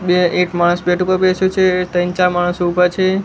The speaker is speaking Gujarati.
બે એક માણસ બેટ ઉપર બેસ્યું છે ત્રણ ચાર માણસ ઉભા છે.